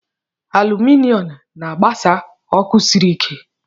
Aluminọm na-agbasa ọkụ sịrị ike.